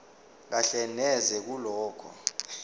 kahle neze kulokho